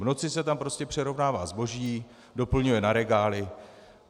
V noci se tam prostě přerovnává zboží, doplňuje na regály.